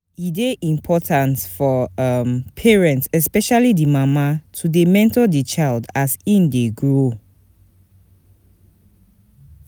E de important for um parents especially di mama to de monitor di child as in dey grow